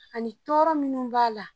Ani tɔɔrɔ munnu b'a la.